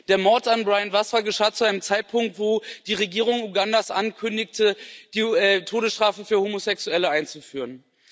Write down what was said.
Der Mord an Brian Wasswa geschah zu einem Zeitpunkt, als die Regierung Ugandas ankündigte, die Todesstrafe für Homosexuelle einzuführen.